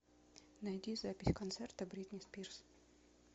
найди запись концерта бритни спирс